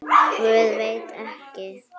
Guð, veit ekki.